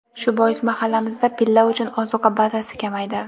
Shu bois mahallamizda pilla uchun ozuqa bazasi kamaydi.